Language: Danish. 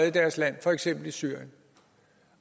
i deres land for eksempel i syrien